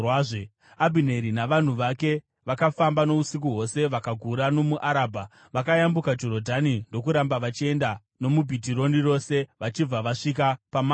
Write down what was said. Abhineri navanhu vake vakafamba nousiku hwose vakagura nomuArabha. Vakayambuka Jorodhani, ndokuramba vachienda nomuBhitironi rose vachibva vasvika paMahanaimi.